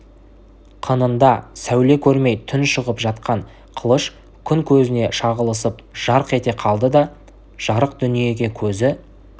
қынында сәуле көрмей тұншығып жатқан қылыш күн көзіне шағылысып жарқ ете қалды да жарық дүниеге көзі